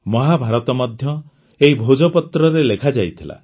ମହାଭାରତ ମଧ୍ୟ ଏହି ଭୋଜପତ୍ରରେ ଲେଖାଯାଇଥିଲା